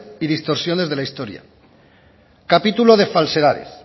y distorsiones de la historia capítulo de falsedades